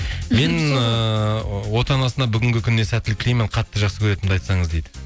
мен ыыы отанасына бүгінгі күніне сәттілік тілеймін қатты жақсы көретінімді айтсаңыз дейді